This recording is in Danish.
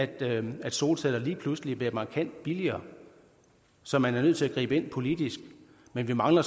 det at solceller lige pludselig bliver markant billigere så man er nødt til at gribe ind politisk men vi mangler